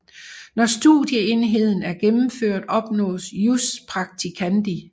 Når studieenheden er gennemført opnås jus practicandi